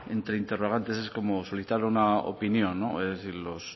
entre interrogantes es como solicitar una opinión no es decir los